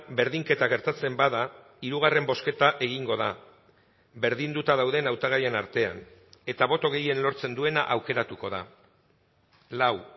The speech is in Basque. berdinketa gertatzen bada hirugarren bozketa egingo da berdinduta dauden hautagaien artean eta boto gehien lortzen duena aukeratuko da lau